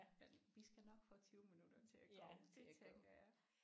Men vi skal nok få 20 minutter til at gå det tænker jeg